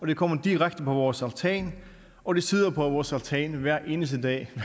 de kommer direkte på vores altan og de sidder på vores altan hver eneste dag